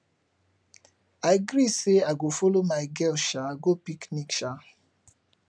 i gree say i go follow my girl um go picnic um